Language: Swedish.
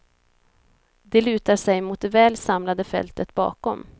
De lutar sig mot det väl samlade fältet bakom.